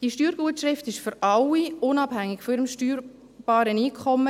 Die Steuergutschrift ist für alle gleich hoch, unabhängig von ihrem steuerbaren Einkommen.